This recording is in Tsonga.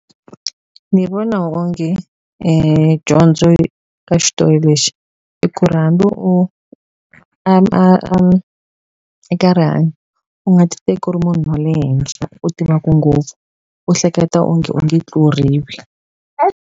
Ni vona onge dyondzo ka xitori lexi i ku ri hambi a a eka rihanyo u nga ti teki u ri munhu wa le henhla u tivaku ngopfu u hleketa onge u nge tluriwi.